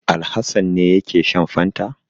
Alhassan ne yake shan fantan?